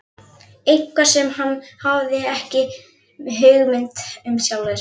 Eitthvað sem hann hafði ekki hugmynd um sjálfur.